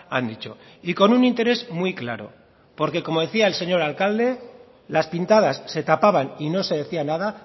han dicho y con un interés muy claro porque como decía el señor alcalde las pintadas se tapaban y no se decía nada